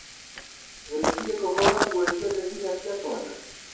ũrĩkirie kũhũra nguo ciothe nginya cia twana?